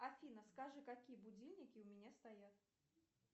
афина скажи какие будильники у меня стоят